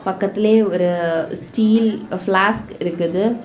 பக்கத்திலயே ஒரு steel flask இருக்குது.